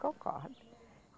Concordo.